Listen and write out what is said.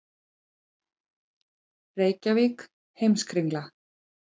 Reykjavík, Heimskringla.